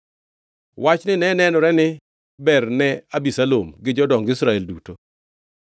Wachni ne nenore ni ber ne Abisalom gi jodong Israel duto.